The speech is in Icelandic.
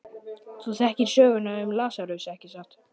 Þú þekkir söguna um Lasarus, ekki satt?